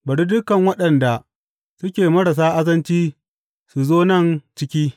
Bari dukan waɗanda suke marasa azanci su zo nan ciki!